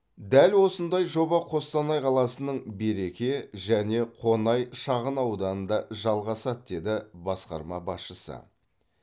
дәл осындай жоба қостанай қаласының береке және қонай шағынауданында жалғасады деді басқарма басшысы